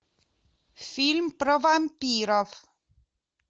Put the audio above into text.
фильм про вампиров